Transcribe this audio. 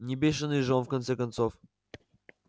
не бешеный же он в конце концов